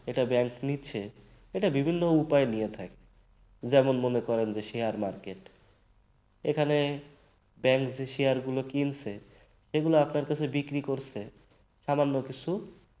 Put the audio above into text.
এটা bank নিচ্ছে এটা বিভিন্ন উপায়ে নিয়ে থাকে যেমন মনে করেন যে share market এখানে bank যে শেয়ারগুলো কিনছে আপনার কাছে বিক্রি করছে সামান্য কিছু